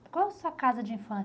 E qual a sua casa de infância?